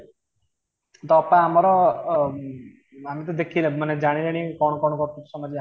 ତ ଅପା ଆମର ଉ ବ ଆମେ ତ ଦେଖିବାନି ତ ଜାଣିବା କେମିତି କ'ଣ କ'ଣ ଘଟୁଛି ସମାଜ ରେ ଆମେ ଜାଣିନେ